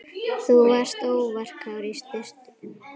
Þú varst óvarkár í sturtu.